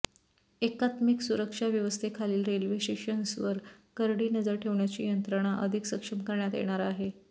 एकात्मिक सुरक्षा व्यवस्थेखालील रेल्वे स्टेशन्सवर करडी नजर ठेवण्याची यंत्रणा अधिक सक्षम करण्यात येणार आहे